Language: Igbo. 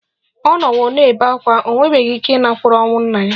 Ọ nọwo na-ebe ákwá, o nwebeghị ike ịnakwere ọnwụ nna ya